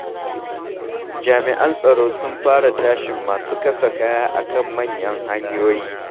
Jami'an tsaro sun fara tashin masu kasa kaya a kan manyan hanyoyi.